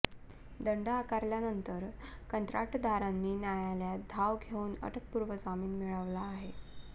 दंड आकारल्यानंतर कंत्राटदारांनी न्यायालयात धाव घेऊन अटकपूर्व जामीन मिळवला आहे